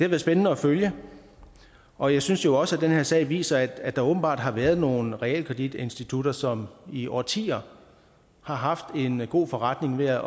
været spændende at følge og jeg synes jo også at den her sag viser at der åbenbart har været nogle realkreditinstitutter som i årtier har haft en god forretning med